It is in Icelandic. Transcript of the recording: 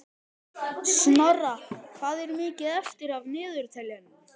Snorra, hvað er mikið eftir af niðurteljaranum?